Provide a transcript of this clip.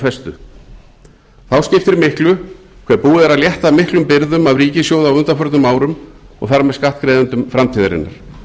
festu þá skiptir miklu hve búið er að létta miklum byrðum af ríkissjóði á undanförnum árum og þar með skattgreiðendum framtíðarinnar